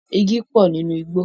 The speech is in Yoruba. Igi pọ̀ nínú igbó.